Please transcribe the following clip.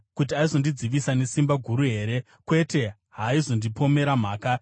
Kuti aizondidzivisa nesimba guru here? Kwete, haaizondipomera mhaka.